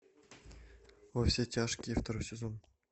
во все тяжкие второй сезон